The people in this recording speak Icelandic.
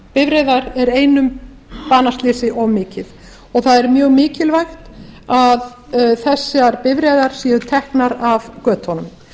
bifreiðar er einu banaslysi of mikið og það er mjög mikilvægt að þessar bifreiðar séu teknar af götunum